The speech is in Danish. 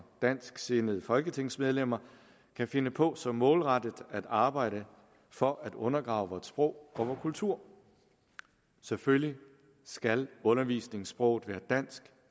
dansksindede folketingsmedlemmer kan finde på så målrettet at arbejde for at undergrave vort sprog og vor kultur selvfølgelig skal undervisningssproget være dansk